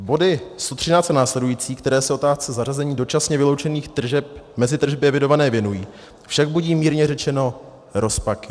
Body 113 a následující, které se otázce zařazení dočasně vyloučených tržeb mezi tržby evidované věnují, však budí mírně řečeno rozpaky.